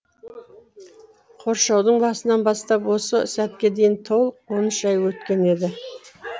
қоршаудың басынан бастап осы сәтке дейін толық он үш ай өткен еді